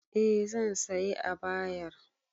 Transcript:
Eh zan sayi abayar